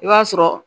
I b'a sɔrɔ